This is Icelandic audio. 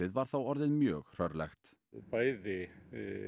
var þá orðið mjög hrörlegt bæði